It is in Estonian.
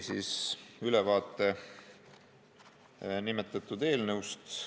Minister andis nimetatud eelnõust ülevaate.